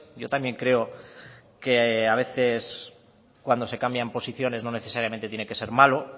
yo también creo que a veces cuando se cambian posiciones no necesariamente tiene que ser malo